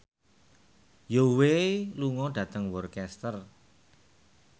Zhao Wei lunga dhateng Worcester